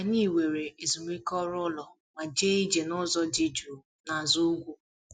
Anyị were ezumike ọrụ ụlọ ma jee ije nụzọ dị jụụ nazụ ugwu